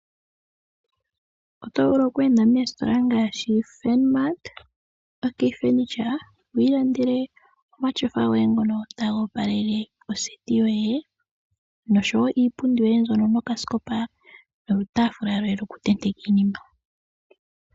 Oto vulu okweenda meestola ngaashi Furnmart, OK furniture twi ilandele omatyofa goye ngono taga opalele oseti yoye ngaashi woo iipundi yoye mbyono nokaskopa nolutaafula lwoye lokutendeka iinima.